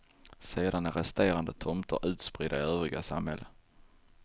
Sedan är resterande tomter utspridda i övriga samhällen.